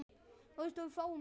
Ertu ekkert farin að sofa!